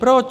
Proč?